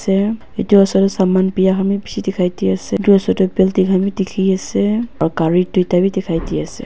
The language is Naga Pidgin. teh etu oshor teh saman biya khan bhi bishi dikhai di ase etu oshor teh building khan bhi dikhi ase aru gari duita bhi dikhai di ase.